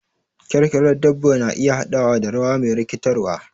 Kyarkyarar dabba na iya haɗawa da rawa me rikitarwa.